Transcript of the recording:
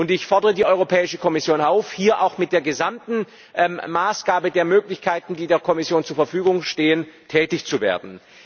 Ich fordere die Europäische Kommission auf, hier mit der gesamten Maßgabe der Möglichkeiten, die ihr zur Verfügung stehen, tätig zu werden.